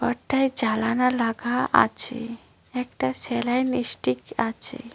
ঘরটায় জালানা লাগা আছে একটা সেলাইন ইস্টিক আছে।